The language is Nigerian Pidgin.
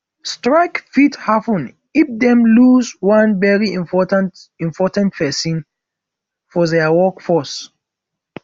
strike fit happen if dem loose one very important important persin for their workforce